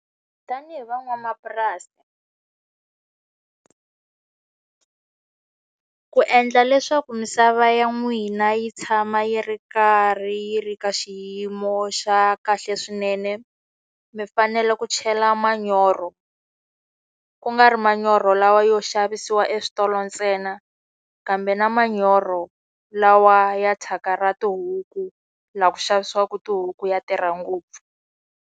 Tanihi van'wamapurasi ku endla leswaku misava ya n'wina yi tshama yi ri karhi yi ri ka xiyimo xa kahle swinene, mi fanele ku chela manyoro. Ku nga ri manyoro lawa yo xavisiwa eswitolo ntsena, kambe na manyoro lawa ya thyaka ra tihuku, laha ku xavisiwaka tihuku ya tirha ngopfu.